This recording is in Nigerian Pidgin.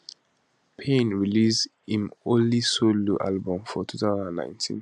payne release im only solo album for 2019